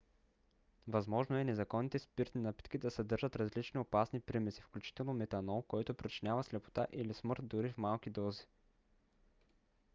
възможно е незаконните спиртни напитки да съдържат различни опасни примеси включително метанол който причинява слепота или смърт дори в малки дози